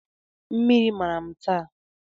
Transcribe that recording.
Mmiri mara m taa